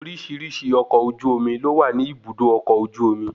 Oríṣiríṣi ọkọ ojú omi ló wà ní ibùdó ọkọ ojú omi